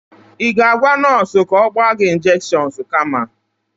Ị ga-agwa onye nọọsụ ka ọ gba gị injekshons kama?